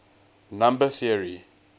number theory